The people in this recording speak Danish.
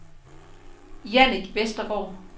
Jannik Westergaard